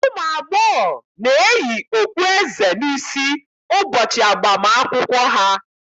Ụmụ agbọghọ na-eyi okpueze n'isi ụbọchị agbam akwụkwọ ha.